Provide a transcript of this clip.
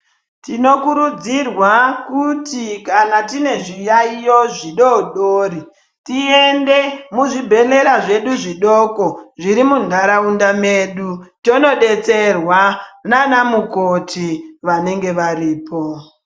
Tinokurudzirwa kuti kana tine zviyaiyo zvidodori tiyende muzvibhonera zvedu zvidoko zviri muntaraunda medu tonodetserwa nana mukoti vanenge varipo.